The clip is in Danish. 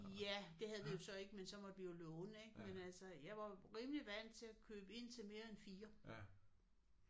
Ja det havde vi jo så ikke men så måtte vi jo låne ik? Men altså jeg var rimelig vant til at købe ind til mere end 4